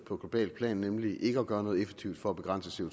på globalt plan nemlig ikke at gøre noget effektivt for at begrænse